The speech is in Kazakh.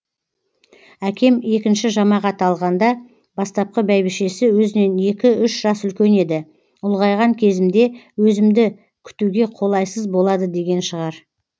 әкем екінші жамағат алғаңда бастапқы бәйбішесі өзінен екі үш жас үлкен еді ұлғайған кезімде өзімді күтуге қолайсыз болады деген шығар